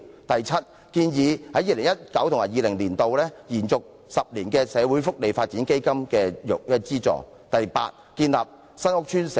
第七，我們建議在 2019-2020 年度把社會福利發展基金的資助延續為10年。